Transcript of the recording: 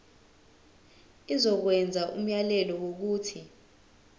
izokwenza umyalelo wokuthi